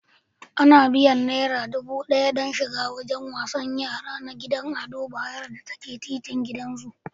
Ana biyan naira dubu ɗaya don shiga wajen wasan yara na gidan Ado Bayero da ke titin gidan zu.